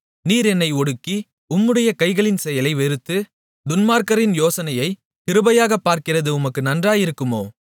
நீர் என்னை ஒடுக்கி உம்முடைய கைகளின் செயலை வெறுத்து துன்மார்க்கரின் யோசனையைக் கிருபையாகப் பார்க்கிறது உமக்கு நன்றாயிருக்குமோ